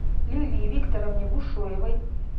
лилии викторовне бушуевой